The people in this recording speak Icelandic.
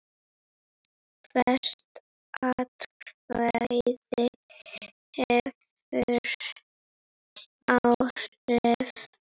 Hvert atkvæði hefur áhrif.